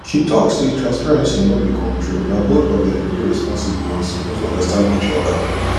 she talk say transparency no be control na both of them day responsible and suppose understand each other